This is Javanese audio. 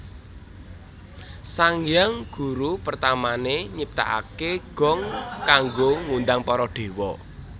Sang Hyang Guru pertamané nyiptakaké gong kanggo ngundhang para dewa